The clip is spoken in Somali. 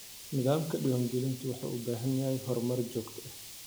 Nidaamka diiwaangelintu wuxuu u baahan yahay horumar joogto ah.